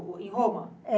Em Roma?